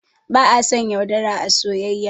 Ba a son yaudara a soyayya